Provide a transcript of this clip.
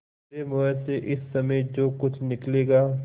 मेरे मुँह से इस समय जो कुछ निकलेगा